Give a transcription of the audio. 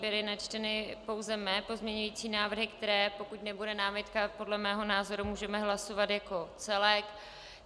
Byly načteny pouze mé pozměňující návrhy, které, pokud nebude námitka, podle mého názoru můžeme hlasovat jako celek.